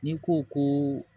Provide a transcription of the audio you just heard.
N'i ko ko